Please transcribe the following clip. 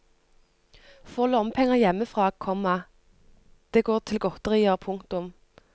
Får lommepenger hjemmefra, komma det går til godterier. punktum